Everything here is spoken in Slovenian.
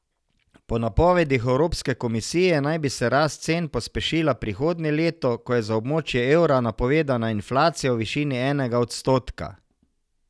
Po napovedih Evropske komisije naj bi se se rast cen pospešila prihodnje leto, ko je za območje evra napovedana inflacija v višini enega odstotka.